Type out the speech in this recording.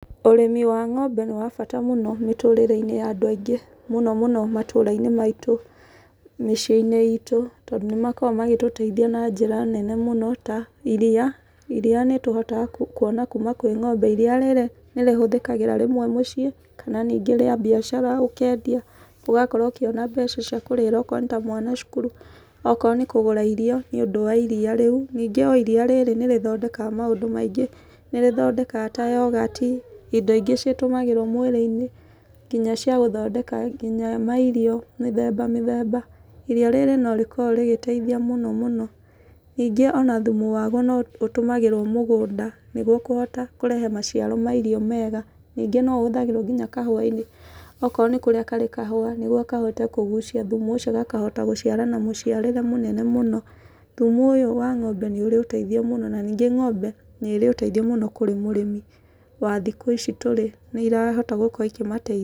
Ũrĩmi wa ng'ombe nĩ wa bata mũno mĩtũrĩre-inĩ ya andũ aingĩ mũno mũno matũra-inĩ maitũ, mĩciĩ-inĩ itũ tondũ nĩmakoragwo magĩtũteithia na njĩra nene mũno ta iriia. Iriia nĩ tũhotaga kuona kuma kwĩ ng'ombe. Iriia nĩrĩhũthikagĩra rĩmwe mũciĩ kana rĩa mbiacara ũkendia, ũgakorwo ũkĩona mbia ciaku ciakũrĩhĩra okorwo nĩta mwana cukuru, okorwo nĩkũgũra irio nĩũndũ wa iriia rĩu. Ningĩ iriia rĩrĩ nĩ rĩthondekaga maũndũ maingĩ, nĩrĩthondekaga ta yogati, indo ingĩ citũmagĩrwo mwĩrĩ-inĩ nginya cia gũthondeka nginya mairio mĩthemba mĩthemba. Iriia rĩrĩ no rĩgĩkoragwo rĩgĩteithia mũno mũno. Ningĩ ona thumu waguo no ũtũmagĩrwo mũgũnda nĩguo kũhota kũrehe maciaro ma irio mega, ningĩ no ũhũthagĩrwo nginya kahũa-inĩ, okorwo nĩkũrĩa karĩ kahũa nĩguo kahote kũguia thumu ũcio gakahota gũciara na mũciarĩre mũnene mũno. Thumu ũyũ wa ng'ombe nĩ ũrĩ ũteithio mũno na ningĩ ng'ombe nĩ ĩrĩ ũteithio kũrĩ mũrĩmi wa thikũ ici tũrĩ, nĩirahota gũkorwo ikĩmateithia.